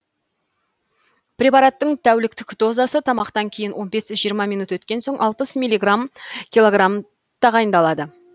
препараттың тәуліктік дозасы тамақтан кейін он бес жиырма минут өткен соң алпыс миллиграмм килограмм тағайындалады